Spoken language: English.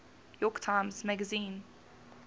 york times magazine